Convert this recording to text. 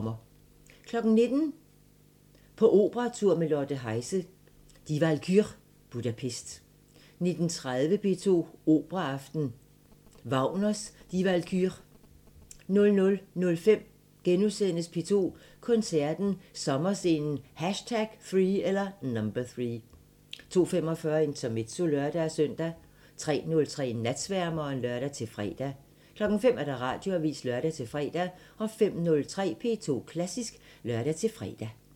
19:00: På operatur med Lotte Heise – Die Walküre, Budapest 19:30: P2 Operaaften – Wagners Die Walküre 00:05: P2 Koncerten – Sommerscenen #3 * 02:45: Intermezzo (lør-søn) 03:03: Natsværmeren (lør-fre) 05:00: Radioavisen (lør-fre) 05:03: P2 Klassisk (lør-fre)